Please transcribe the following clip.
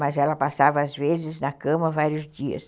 Mas ela passava, às vezes, na cama vários dias.